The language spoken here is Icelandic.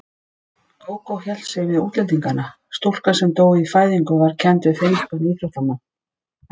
Gógó hélt sig við útlendingana: Stúlka sem dó í fæðingu var kennd við finnskan íþróttamann.